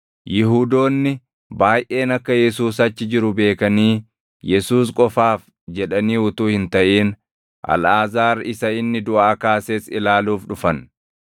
Yihuudoonni baayʼeen akka Yesuus achi jiru beekanii Yesuus qofaaf jedhaanii utuu hin taʼin, Alʼaazaar isa inni duʼaa kaases ilaaluuf dhufan.